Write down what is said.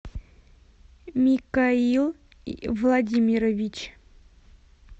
микаил владимирович